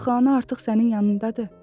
Axı ana artıq sənin yanındadır?